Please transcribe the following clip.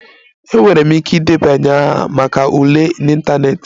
Enwere m ike ịdebanye aha maka ule n'ịntanetị